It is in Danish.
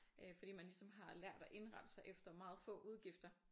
Øh fordi man ligesom har lært at indrette sig efter meget få udgifter